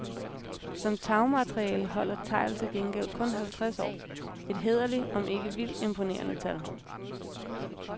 Som tagmateriale holder tegl til gengæld kun halvtreds år, et hæderligt om ikke vildt imponerende tal.